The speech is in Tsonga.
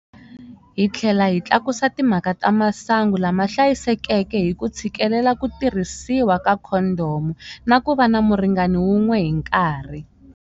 Hi tlhela hi tlakusa timhaka ta masangu lama hlayisekeke hi ku tshikelela ku tirhisiwa ka khondomu na ku va na muringani un'we hi nkarhi.